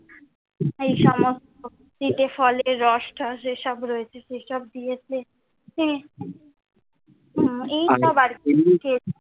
এই সমস্ত ফলের রস ঠস এ সব রয়েছে, সে সব দিয়েছে। হ্যাঁ এই সব আর কি,